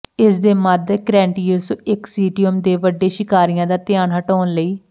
ਇਸਦੇ ਮੱਧ Cretaceous ecosystem ਦੇ ਵੱਡੇ ਸ਼ਿਕਾਰੀਆਂ ਦਾ ਧਿਆਨ ਹਟਾਉਣ ਲਈ